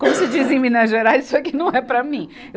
Como se diz em Minas Gerais, isso aqui não é para mim.